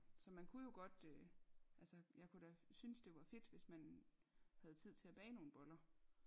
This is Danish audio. Så man kunne jo godt øh altså jeg kunne da synes det var fedt hvis man havde tid til at bage nogle boller